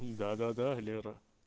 да-да-да лера